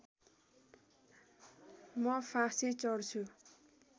म फाँसी चढ्छु